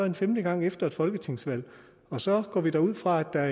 en femte gang efter et folketingsvalg og så går vi da ud fra at der